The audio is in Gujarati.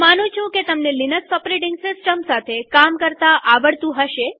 હું માનું છું કે તમને લિનક્સ ઓપરેટીંગ સિસ્ટમ સાથે કામ કરતા આવડતું હશે